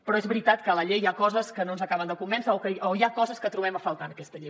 però és veritat que a la llei hi ha coses que no ens acaben de convèncer o hi ha coses que trobem a faltar en aquesta llei